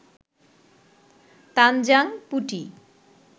তানজাং পুটি